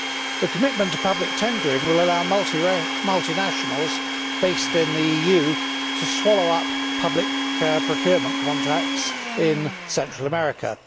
The commitment to public tendering will allow multinationals based in the EU to swallow up public procurement contracts in Central America.